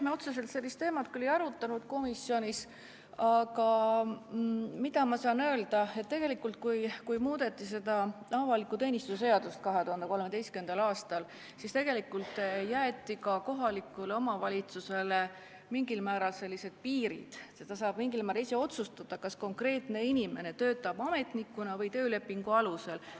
Me otseselt sellist teemat küll komisjonis ei arutanud, aga ma saan öelda, et kui 2013. aastal muudeti avaliku teenistuse seadust, siis jäeti ka kohalikule omavalitsusele sellised piirid, et ta saab mingil määral ise otsustada, kas konkreetne inimene töötab ametnikuna või töölepingu alusel.